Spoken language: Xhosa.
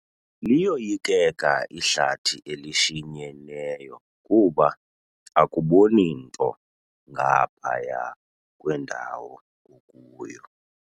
Liyoyikeka ihlathi elishinyeneyo kuba akuboni nto ngaphaya kwendawo okuyo.